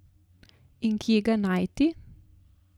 In kje ga najti?